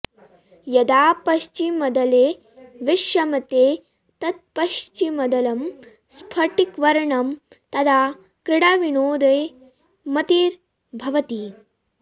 यदा पश्चिमदले विश्रमते तत्पश्चिमदलं स्फटिकवर्णं तदा क्रीडाविनोदे मतिर्भवति